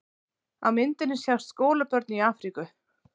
Á myndinni sjást skólabörn í Afríku.